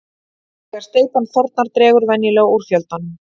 Þegar steypan þornar dregur venjulega úr fjöldanum.